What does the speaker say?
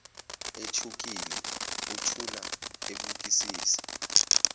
ethukile uthula ebukisisa